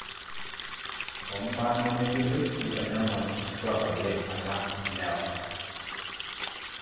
Tombaa nemeyioloi keitanyamal nkitwak oleng alang lewa.